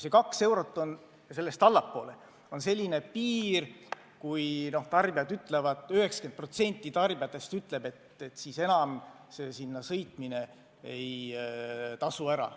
See kaks eurot ja sellest allapoole on tähtis piir: 90% tarbijatest ütleb, et siis enam Lätti sõitmine ei tasu ära.